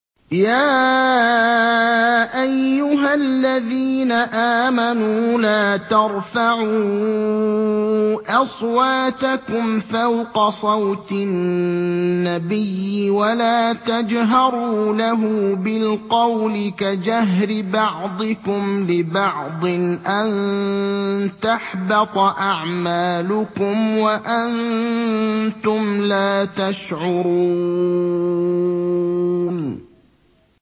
يَا أَيُّهَا الَّذِينَ آمَنُوا لَا تَرْفَعُوا أَصْوَاتَكُمْ فَوْقَ صَوْتِ النَّبِيِّ وَلَا تَجْهَرُوا لَهُ بِالْقَوْلِ كَجَهْرِ بَعْضِكُمْ لِبَعْضٍ أَن تَحْبَطَ أَعْمَالُكُمْ وَأَنتُمْ لَا تَشْعُرُونَ